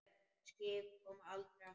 Skip koma aldrei aftur.